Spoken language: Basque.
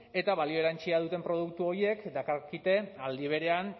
eta balio erantsia duten produktu horiek dakarkite aldi berean